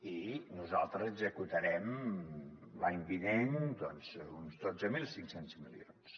i nosaltres executarem l’any vinent doncs uns dotze mil cinc cents milions